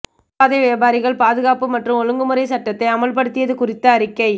நடைபாதை வியாபாரிகள் பாதுகாப்பு மற்றும் ஒழுங்குமுறை சட்டத்தை அமல்படுத்தியது குறித்த அறிக்கை